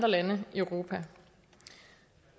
eu